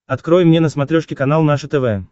открой мне на смотрешке канал наше тв